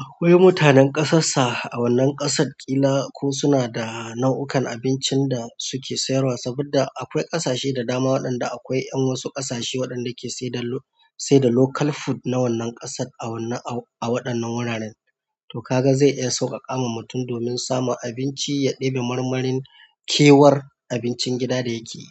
akwai mutanen ƙasassa a wannan ƙasar ƙila ko suna da nau'ukan abincin da suke sayarwa saboda akwai ƙasashe da dama waɗanda akwai ƴan wasu ƙasashe waɗanda suke sayar da sai da local food na wannan ƙasar a wannan a waɗannan guraren. To ka ga zai iya sauƙaƙa ma mutum domin samun abinci ya ɗibi marmarin kewar abincin gida da yake yi.